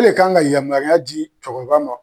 Ale de kan ka yamaruya ji cɛkɔrɔba ma